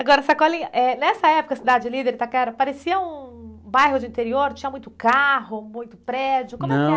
Não, não tinha nem muito carro e nem muita bicicleta, também não tinha tanto prédio assim não.